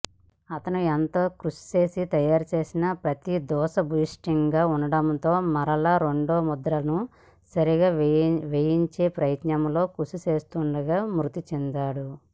అతను ఎంతో కృషిచేసి తయారుచేసిన ప్రతి దోషభూయిష్టముగా ఉండడంతో మరలా రెండవ ముద్రణను సరిగా వేయించే ప్రయత్నంలో కృషిచేస్తుండగా మృతిచెందారు